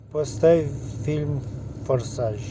поставь фильм форсаж